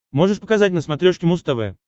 можешь показать на смотрешке муз тв